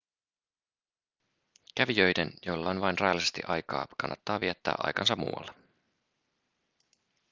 kävijöiden joilla on vain rajallisesti aikaa kannattaa viettää aikansa muualla